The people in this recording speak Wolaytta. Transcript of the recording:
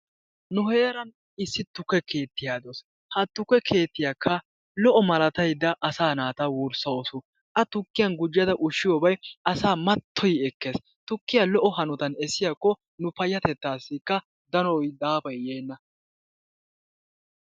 Nu heeran issi tukke keettiya de'awusu. Ha tukke keettiyakka lo"o malataydda asaa wurssawusu. A tikkiyan gujjada ushshiyobay asaa mattoyi ekkees. Tukkiya lo"o hanotan essiyakko nu payyatettaa bollankka danoy daafay yeenna.